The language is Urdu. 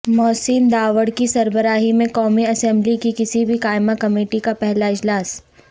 محسن داوڑ کی سربراہی میں قومی اسمبلی کی کسی بھی قائمہ کمیٹی کا پہلا اجلاس